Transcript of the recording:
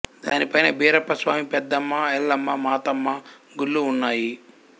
దాని పైన భీరప్ప స్వామి పెద్దమ్మ ఎల్లమ్మ మాతమ్మ గుళ్ళు ఉన్నాయి